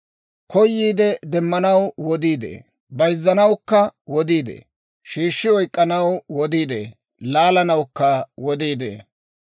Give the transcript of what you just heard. Koyiide demmanaw wodii de'ee; bayzzanawukka wodii de'ee. Shiishshi oyk'k'anaw wodii de'ee; laalanawukka wodii de'ee.